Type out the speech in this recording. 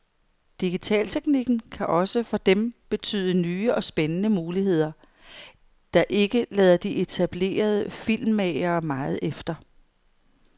Digitalteknikken kan også for dem betyde nye og spændende muligheder, der ikke lader de etablerede filmmagere meget efter.